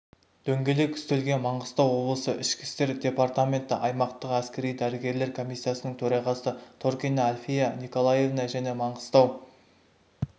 дөңгелек үстелге маңғыстау облысы ішкі істер департаменті аймақтық әскери-дәрігерлік комиссиясының төрағасы торкина альфия николаевна және маңғыстау